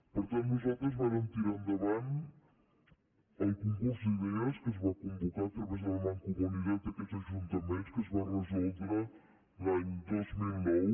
per tant nosaltres vàrem tirar endavant el concurs d’idees que es va convocar a través de la mancomunitat d’aquests ajuntaments que es va resoldre l’any dos mil nou